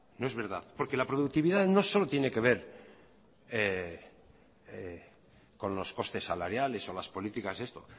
no es verdad porque la productividad no solo tiene que ver con los costes salariales o las políticas